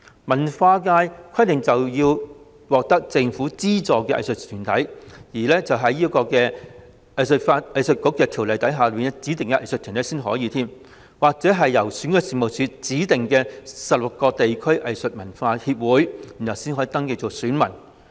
文化界則規定要是獲政府資助兼且是《香港藝術發展局條例》下指定的藝術團體，或是由選舉事務處指定的16個地區藝術文化協會才可登記成為選民。